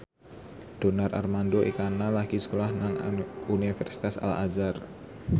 Donar Armando Ekana lagi sekolah nang Universitas Al Azhar